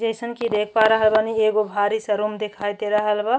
जइसन कि देख पा रहल बानी एगो भारी सा रूम देखाई दे रहल बा।